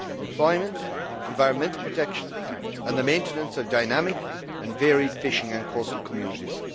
employment, environmental protection and the maintenance of dynamic and varied fishing and coastal communities.